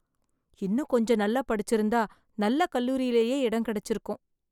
இன்னும் கொஞ்ச நல்லா படிச்சுருந்தா நல்ல கல்லூரிலேயே இடம் கிடைச்சுருக்கும்.